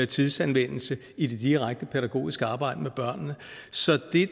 tidsanvendelse i det direkte pædagogiske arbejde med børnene så det